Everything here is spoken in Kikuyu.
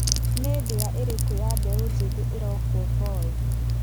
Nĩ ndĩa ĩrĩkũ ya mbeũ njĩthĩ ĩrokwo Boĩ?